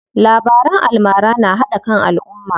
Labaran almara na haɗa kan alumma.